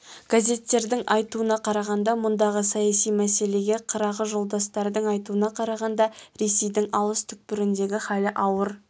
газеттердің айтуына қарағанда мұндағы саяси мәселеге қырағы жолдастардың айтуына қарағанда ресейдің алыс түкпіріндегі халі ауыр